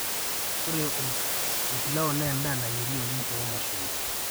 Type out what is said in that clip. ore olpilao naa endaa nayieri oleng toomashoi